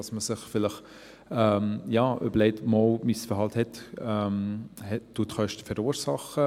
Man überlegt sich vielleicht, dass das eigene Verhalten Kosten verursacht.